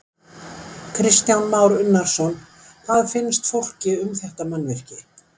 Kristján Már Unnarsson: Hvað finnst fólki um þetta mannvirki?